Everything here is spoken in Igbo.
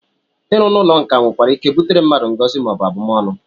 Ịrụ n'ụlọ nkà nwereike butere mmadụ ngọzi maọbụ abụmọnụ